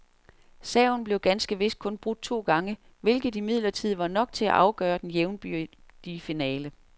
Serven blev ganske vist kun brudt to gange, hvilket imidlertid var nok til at afgøre den jævnbyrdige finale.